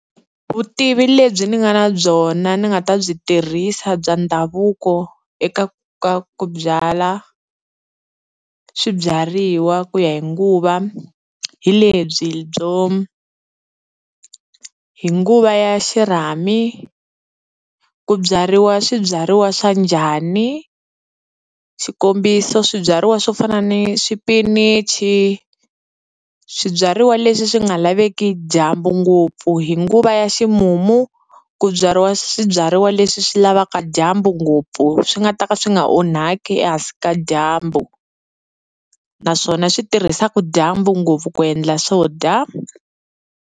Vutivi lebyi ni nga na byona ni nga ta byi tirhisa bya ndhavuko eka ka ku byala swibyariwa ku ya hi nguva, hi lebyi byo hi nguva ya xirhami ku byariwa swibyariwa swa njhani, xikombiso swibyariwa swo fana ni swipinichi, swibyariwa leswi swi nga laveki dyambu ngopfu. Hi nguva ya ximumu, ku byariwa swibyariwa leswi swi lavaka dyambu ngopfu swi nga ta ka swi nga onhaki ehansi ka dyambu, naswona swi tirhisaka dyambu ngopfu ku endla swo dya.